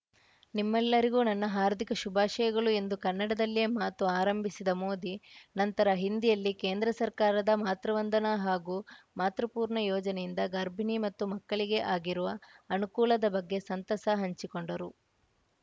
ನಿಮ್ಮೆಲ್ಲರಿಗೂ ನನ್ನ ಹಾರ್ದಿಕ ಶುಭಾಶಯಗಳು ಎಂದು ಕನ್ನಡದಲ್ಲಿಯೇ ಮಾತು ಆರಂಭಿಸಿದ ಮೋದಿ ನಂತರ ಹಿಂದಿಯಲ್ಲಿ ಕೇಂದ್ರ ಸರ್ಕಾರದ ಮಾತೃವಂದನಾ ಹಾಗೂ ಮಾತೃಪೂರ್ಣ ಯೋಜನೆಯಿಂದ ಗರ್ಭಿಣಿ ಮತ್ತು ಮಕ್ಕಳಿಗೆ ಆಗಿರುವ ಅನುಕೂಲದ ಬಗ್ಗೆ ಸಂತಸ ಹಂಚಿಕೊಂಡರು